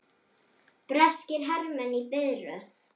Breskir hermenn í biðröð.